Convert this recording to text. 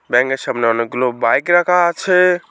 ব্যাঙের সামনে অনেকগুলো বাইক রাখা আছে।